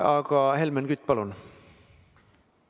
Aga Helmen Kütt, palun!